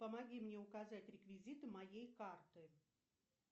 помоги мне указать реквизиты моей карты